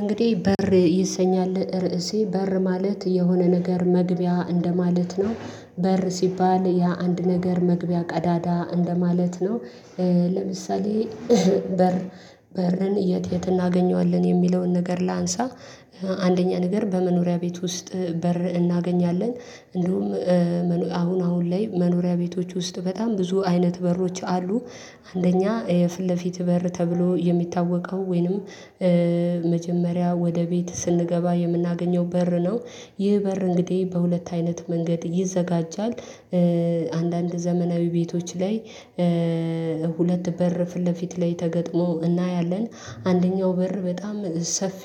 እንግዲህ በር ይሰኛል ርዕሴ በር ማለት የሆነ ነገር መግቢያ እንደማለት ነው በር ሲባል የአንድ ነገር መግቢያ ቀዳዳ እንደማለት ነው። ለምሳሌ በር በርን የት የት እናገኘዋለን የሚለውን ነገር ላንሣ። አንደኛ ነገር በመኖሪያ ቤት ውስጥ በር እናገኛለን እንዲሁም አሁን አሁን ላይ መኖሪያ ቤቶች ውስጥ በጣም ብዙ አይነት በሮች አሉ። አንደኛ የፊት ለፊት በር ተብሎ የሚታወቀው ወይንም መጀመሪያ ወደ ቤት ስንገባ የምናገኘው በር ነው። ይህ በር እንግዲህ በሁለት አይነት መንገድ ይዘጋጃል። አንዳንድ ዘመናዊ ቤቶች ላይ ሁለት በር ፊት ለፊት ላይ ተገጥሞ እናያለን። አንደኛው በር በጣም ሰፊ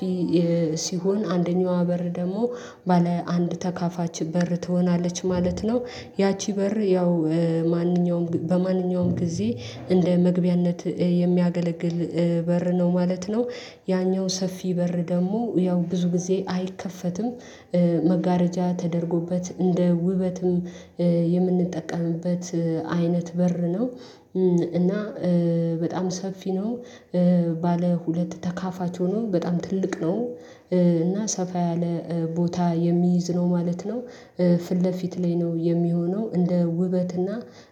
ሲሆን አንደኛዋ በር ደግሞ ባለ አንድ ተካፋች በር ትሆናለች ማለት ነው። ያቺ በር ያው ማንኛውም በማንኛውም ጊዜ እንደ መግቢያነት የሚያገለግል በር ነው ማለት ነው። ያኛው ሰፊ በር ደግሞ ያው ብዙ ጊዜ አይከፈትም። መጋረጃ ተደርጎበት እንደ ውበትም የምንጠቀምበት አይነት በር ነው። እና በጣም ሰፊ ነው። ባለ ሁለት ተካፋች ሆኖ በጣም ትልቅ ነው እና ሰፋ ያለ ቦታ የሚይዝ ነው ማለት ነው። ፊት ለፊት ላይ ነው የሚሆነው እንደ ውበት እና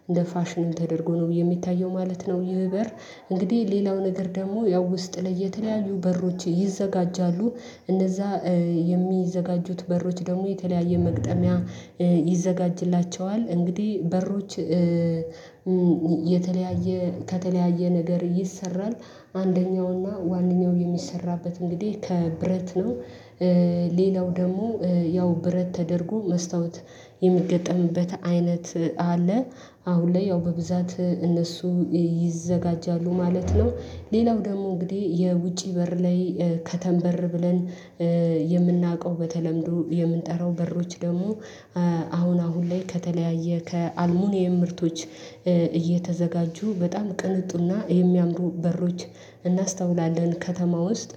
እንደ ፋሽን ተደርጎ ነው የሚታየው ማለት ነው። ይህ በር እንግዲህ ሌላው ነገር ደግሞ ያው ውስጥ ላይ የተለያዩ በሮች ይዘጋጃሉ። እነዛ የሚዘጋጁት በሮች ደግሞ የተለያየ መግጠሚያ ይዘጋጅላቸዋል እንግዲህ በሮች የተለያየ ከተለያየ ነገር ይሰራል። አንደኛውና ዋነኛው የሚሰራበት እንግዲህ ከብረት ነው። ሌላው ደግሞ ያው ብረት ተደርጎ መስታወት የሚገጠምበት አይነት አለ። አሁን ላይ ያው በብዛት እነሱ ይዘጋጃሉ ማለት ነው። ሌላው ደግሞ እንግዲህ የውጪ በር ላይ ከተም በር ብለን የምናውቀው በተለምዶ የምንጠራው በሮች ደግሞ አሁን አሁን ላይ ከተለያየ ከአልሙኒየም ምርቶች እየተዘጋጁ በጣም ቅንጡና የሚያምሩ በሮች። እናስተውላለን ከተማ ውስጥ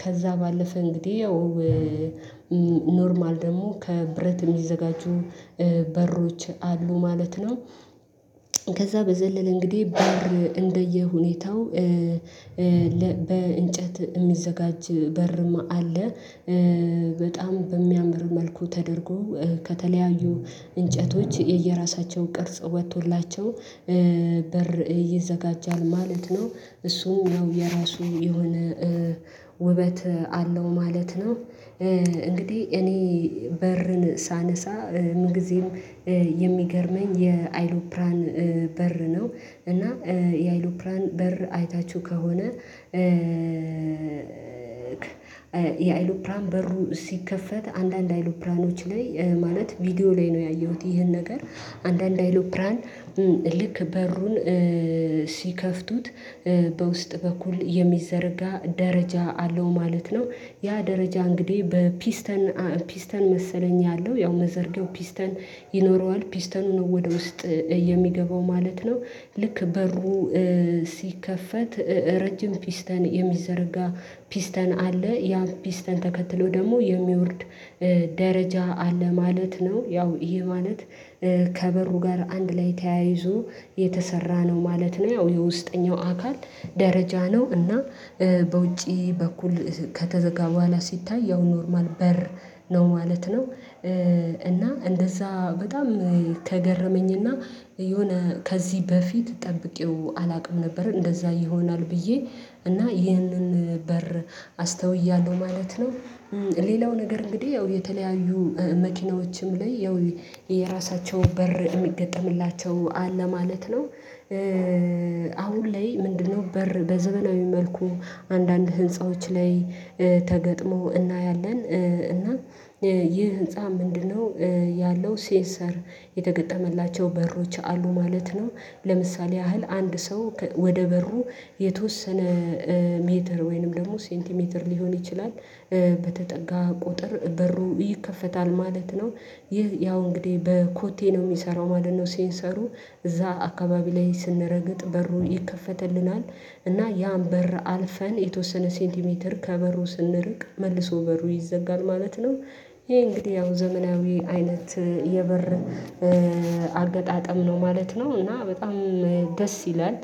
ከዛ ባለፈ እንግዲህ ኖርማል ደግሞ ከብረት የሚዘጋጁ በሮች አሉ ማለት ነው። ከዛ በዘለለ እንግዲህ በር እንደየሁኔታው በእንጨት የሚዘጋጅ በርም አለ። በጣም በሚያምር መልኩ ተደርጎ ከተለያዩ እንጨቶች የየራሳቸውን ቅርጽ ወጥቶላቸው በር ይዘጋጃል ማለት ነው። እሱ ያው የራሱ የሆነ ውበት አለው ማለት ነው። እንግዲህ እኔ በርን ሳነሣ ምን ጊዜም የሚገርመኝ የአይሎፕራን በር ነው እና የአይሎፕራን በር አይታችሁ ከሆነ? የአይሎፕራን በሩ ሲከፈት አንዳንድ አይሎፕራኖች ላይ ማለት ቪዲዮ ላይ ነው ያየሁት ይሄን ነገር አንዳንድ አይሎፕራን ልክ በሩን ሲከፍቱት በውስጥ በኩል የሚዘረጋ ደረጃ አለው ማለት ነው። ያ ደረጃ እንግዲህ በፒስተን ፒስተን መሰለኝ ያለው ያው መዘርጊያው ፒስተን ይኖረዋል ፒስተኑ ነው ወደ ውስጥ የሚገባው ማለት ነው። ልክ በሩ ሲከፈት ረጅም ፒስተን የሚዘረጋ ፒስተን አለ ያ ፒስተን ተከትሎ ደግሞ የሚወርድ ደረጃ አለ ማለት ነው። ያው ይሄ ማለት ከበሩ ጋር አንድ ላይ ተያይዞ የተሰራ ነው ማለት ነው። ያው የውስጠኛው አካል ደረጃ ነው እና በውጪ በኩል ከተዘጋ በኋላ ሲታይ ያው ኖርማል በር ነው ማለት ነው። እና እንደዛ በጣም ከገረመኝ እና የሆነ ከዚህ በፊት ጠብቄው አላውቅም ነበር እንደዛ ይሆናል ብዬ እና ይህንን በር አስተውያለሁ ማለት ነው። ሌላው ነገር እንግዲህ ያው የተለያዩ መኪናዎችም ላይ ያው የራሳቸው በር የሚገጠምላቸው አለ ማለት ነው። አሁን ላይ ምንድነው በር በዘመናዊ መልኩ አንዳንድ ህንፃዎች ላይ ተገጥሞ እናያለን እና ይህ ህንፃ ምንድነው? ያለው ሴንሰር የተገጠመላቸው በሮች አሉ ማለት ነው። ለምሳሌ ያህል አንድ ሰው ወደ በሩ የተወሰነ ሜትር ወይንም ደግሞ ሴንቲሜትር ሊሆን ይችላል በተጠጋ ቁጥር በሩ ይከፈታል ማለት ነው። ይህ ያው እንግዲህ በኮቴ ነው የሚሰራው ማለት ነው። ሴንሰሩ እዛ አካባቢ ላይ ስንረግጥ በሩን ይከፈትልናል እና ያን በር አልፈን የተወሰነ ሴንቲሜትር ከበሩ ስንርቅ መልሶ በሩ ይዘጋል ማለት ነው። ይሄ እንግዲህ ያው ዘመናዊ አይነት የበር አገጣጠም ነው ማለት ነው። እና በጣም ደስ ይላል